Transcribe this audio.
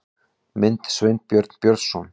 Mynd: Sveinbjörn Björnsson